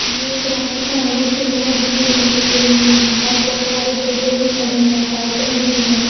यह एक रास्ता है जिसमें बहुत भीड़ लगे हुए हैं और बहुत सारे टोटो भी खड़े हैं साइकिल भी है।